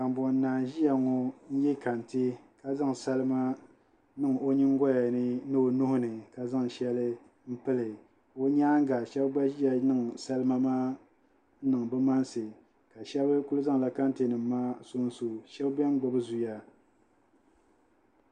Kambonnaa n-ʒiya ŋɔ ye kante ka zaŋ salimaniŋ o nyiŋgoya ni o nuhi ni ka zaŋ shɛli pili o nyaaŋa shɛba gba ʒiya niŋ salima maa niŋ bɛ mansi ka shɛba kuli zaŋla kantenima maa so n-so shɛba beni gbubi zuya